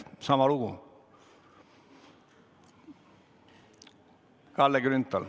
Sama lugu!